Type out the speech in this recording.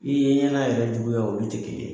I ye ɲɛnɛ yɛrɛ juguya olu te kelen ye